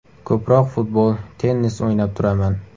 Ko‘proq futbol, tennis o‘ynab turaman.